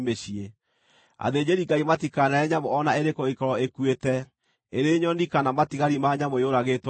Athĩnjĩri-Ngai matikanarĩe nyamũ o na ĩrĩkũ ĩngĩkorwo ĩkuĩte, ĩrĩ nyoni, kana matigari ma nyamũ yũragĩtwo nĩ nyamũ ĩngĩ.